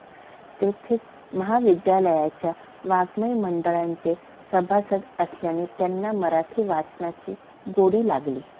तेथेच महाविद्यालयाच्या वाङ्मय मंडळाचे सभासद असल्याने त्यांना मराठी वाचनाची गोडी लागली.